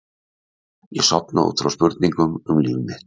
Ég sofna út frá spurningum um líf mitt.